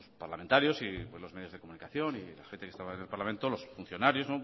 parlamentarios los medios de comunicación y la gente que estaba en el parlamento los funcionarios